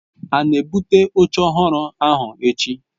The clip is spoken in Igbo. A na-ebụte oche ọhụrụ ahụ echi?